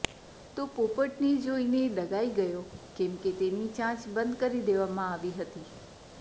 તો પોપટને જોઈને ડઘાઈ ગયો કેમકે તેની ચાંચ બંધ કરી દેવામાં આવી હતી